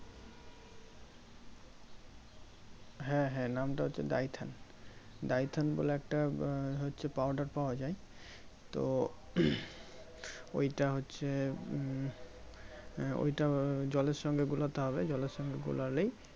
হ্যাঁ হ্যাঁ নাম টা হচ্ছে DyphaneDyphane বলে একটা আহ হচ্ছে Powder পাওয়া যাই তো ওইটা হচ্ছে উম ওই টা জলের সঙ্গে গলাতে হবে জলের সঙ্গে গোলালেই